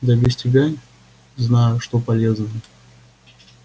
да без тебя знаю что полезное